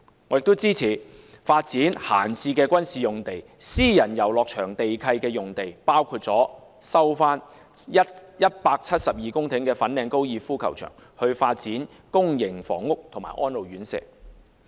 我也支持發展閒置的軍事用地、私人遊樂場地契約用地，包括收回172公頃的粉嶺高爾夫球場以發展公營房屋和安老院舍。